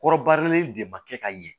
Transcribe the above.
Kɔrɔbarilen de ma kɛ ka ɲɛ